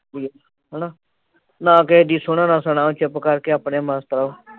ਹੈਨਾ ਨਾ ਕਿਹੇ ਦੀ ਸੁਣੋ ਨਾ ਸੁਣਾਓ। ਚੁੱਪ ਕਰਕੇ ਆਪਣੇ ਮਸਤ ਰਹੋ।